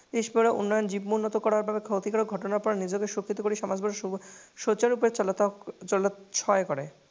পিছপৰা উন্নয়ন কৰাৰ বাবে নিজকে সমাজত